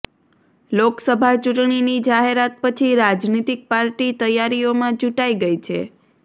લોકસભા ચૂંટણીની જાહેરાત પછી રાજનીતિક પાર્ટી તૈયારીઓમાં જુટાઈ ગઈ છે